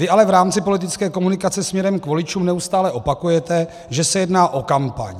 Vy ale v rámci politické komunikace směrem k voličům neustále opakujete, že se jedná o kampaň.